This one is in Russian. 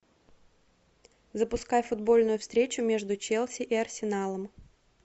запускай футбольную встречу между челси и арсеналом